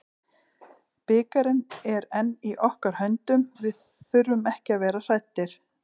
Bikarinn er enn í okkar höndum, við þurfum ekki að vera hræddir.